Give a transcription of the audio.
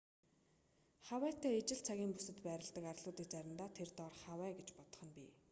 хавайтай ижил цагийн бүсэд байдаг арлуудыг заримдаа тэр доорх хавай гэж бодох нь бий